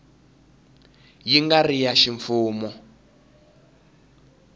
yi nga ri ya ximfumo